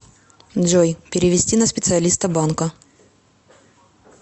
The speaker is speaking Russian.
джой перевести на специалиста банка